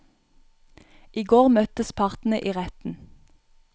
I går møttes partene i retten.